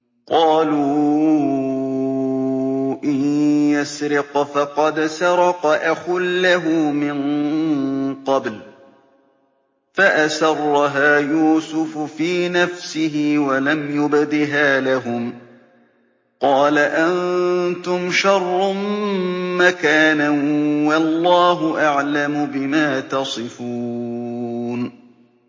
۞ قَالُوا إِن يَسْرِقْ فَقَدْ سَرَقَ أَخٌ لَّهُ مِن قَبْلُ ۚ فَأَسَرَّهَا يُوسُفُ فِي نَفْسِهِ وَلَمْ يُبْدِهَا لَهُمْ ۚ قَالَ أَنتُمْ شَرٌّ مَّكَانًا ۖ وَاللَّهُ أَعْلَمُ بِمَا تَصِفُونَ